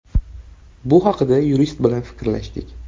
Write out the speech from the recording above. Bu haqida yurist bilan fikrlashdik.